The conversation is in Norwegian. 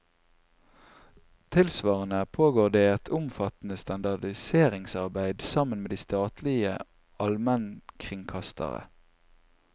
Tilsvarende pågår det et omfattende standardiseringsarbeid, sammen med de statlige almenkringkastere.